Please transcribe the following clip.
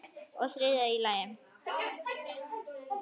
Og í þriðja lagi.